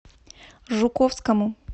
жуковскому